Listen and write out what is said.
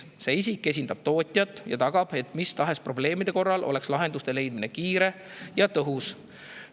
See isik esindab tootjat ja tagab, et mis tahes probleemide korral oleks lahenduste leidmine kiire ja tõhus.